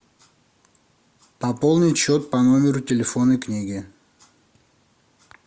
пополнить счет по номеру телефонной книги